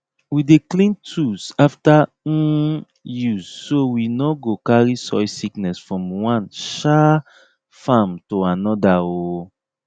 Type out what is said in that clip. we dey clean tools after um use so we no go carry soil sickness from one um farm to another um